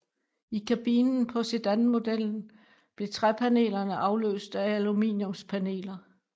I kabinen på sedanmodellen blev træpanelerne afløst af aluminiumspaneler